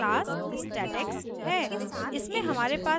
फिर हमारे पास class statex है